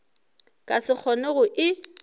ka se kgone go e